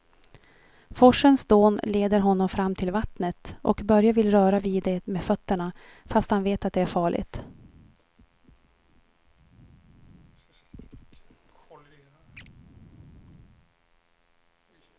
Forsens dån leder honom fram till vattnet och Börje vill röra vid det med fötterna, fast han vet att det är farligt.